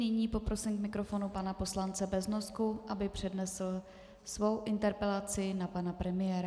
Nyní poprosím k mikrofonu pana poslance Beznosku, aby přednesl svou interpelaci na pana premiéra.